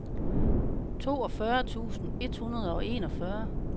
toogfyrre tusind et hundrede og enogfyrre